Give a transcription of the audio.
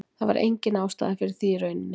Það var engin ástæða fyrir því í rauninni.